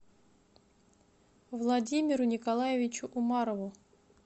владимиру николаевичу умарову